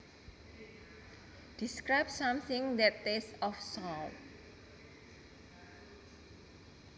Describes something that tastes of salt